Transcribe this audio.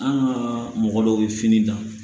An ka mɔgɔ dɔw bɛ fini dan